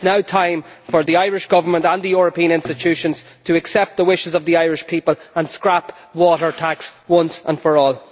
It is now time for the Irish Government and the European institutions to accept the wishes of the Irish people and scrap water tax once and for all.